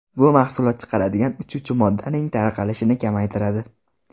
Bu mahsulot chiqaradigan uchuvchi moddaning tarqalishini kamaytiradi.